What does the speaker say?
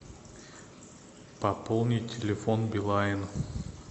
пополнить телефон билайн